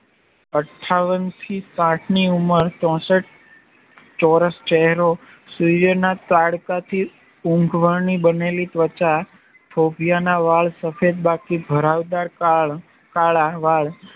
અથાવનથી સાઠની ઉમર ચોસઠ ચોરસ ચેહરો સરુયના તડકાથી ઊંધવાની બનેલી ત્વચા થોભિયાંના વાળ સફેદ બાકી ભરાવદાર કાળા વાળ